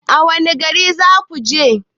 Wanne gari zakuje?